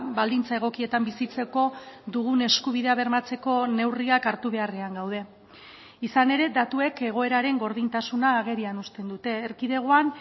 baldintza egokietan bizitzeko dugun eskubidea bermatzeko neurriak hartu beharrean gaude izan ere datuek egoeraren gordintasuna agerian uzten dute erkidegoan